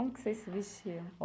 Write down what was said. Como que você se vestia?